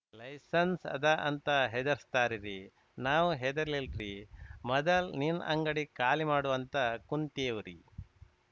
licence ಅದ ಅಂತ ಹೆದರ್ಸ್ತಾರರಿ ನಾವ್‌ ಹೆದರ್ಲಿಲ್ ರೀ ಮದಲ್ ನಿನ್ನ ಅಂಗಡಿ ಖಾಲಿ ಮಾಡು ಅಂತ ಕುಂತಿವ್ರಿ